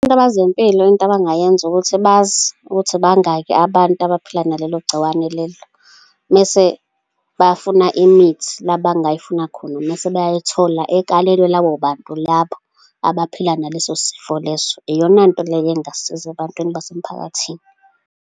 Into abezempilo, into abangayenza ukuthi bazi ukuthi bangaki abantu abaphila nalelo gciwane lelo, mese bafuna imithi la abangayifuna khona, mese bayayithola ekalelwa labo bantu labo, abaphila naleso sifo leso. Iyona nto leyo engasiza ebantwini basemphakathini.